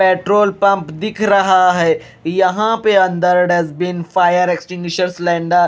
petrol pump दिख रहा है यहां पे अंदर डस्टबिन फायर एक्टिमिशन सिलेंडर --